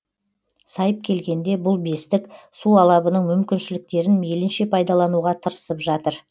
сайып келгенде бұл бестік су алабының мүмкіншіліктерін мейлінше пайдалануға тырысып жатыр